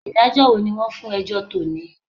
Ìdájọ́ wo ni wọ́n fún ẹjọ́ tò ní?